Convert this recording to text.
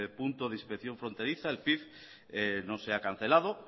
punto de inspección fronteriza el pif no se ha cancelado